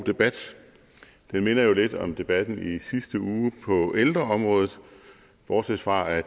debat den minder jo lidt om debatten i sidste uge på ældreområdet bortset fra at